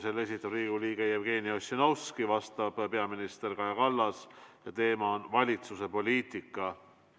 Selle esitab Riigikogu liige Jevgeni Ossinovski, vastab peaminister Kaja Kallas ja teemaks on valitsuse poliitika.